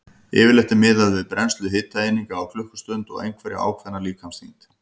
Yfirleitt er miðað við brennslu hitaeininga á klukkustund og einhverja ákveðna líkamsþyngd.